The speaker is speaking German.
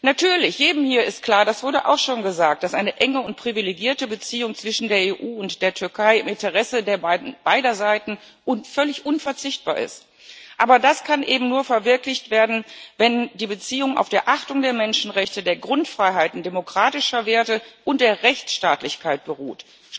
Natürlich, jedem hier ist klar das wurde auch schon gesagt dass eine enge und privilegierte Beziehung zwischen der EU und der Türkei im Interesse beider Seiten völlig unverzichtbar ist. Aber das kann eben nur verwirklicht werden, wenn die Beziehung auf der Achtung der Menschenrechte, der Grundfreiheiten, demokratischer Werte und der Rechtsstaatlichkeit beruht.